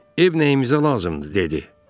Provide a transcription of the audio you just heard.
Ev nəyimizə lazımdır dedi.